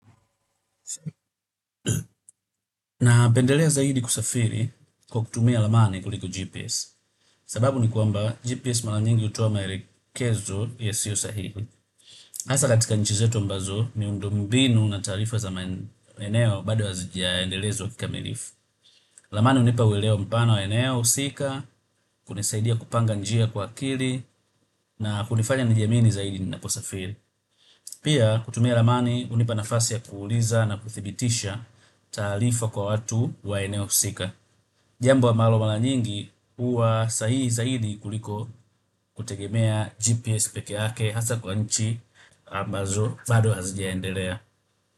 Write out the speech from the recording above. Napendelea zaidi kusafiri kwa kutumia ramani kuliko GPS. Sababu ni kwamba GPS mara nyingi hutoa maelekezo yasiyo sahihi hasa katika nchi zetu ambazo miundombinu na taarifa za maeneo bado hazijaendelezwa kikamilifu ramani hunipa uelewa mpana wa eneo, husika, kunisaidia kupanga njia kwa akili na kunifanya nijiamini zaidi ninaposafiri. Pia kutumia ramani hunipa nafasi ya kuuliza na kuthibitisha taarifa kwa watu wa eneo husika jambo ambalo mara nyingi huwa sahihi zaidi kuliko kutegemea GPS peke yake hasa kwa nchi ambazo bado hazijaendelea.